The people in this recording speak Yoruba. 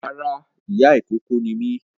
Rárá ìyá ìkókó ni mí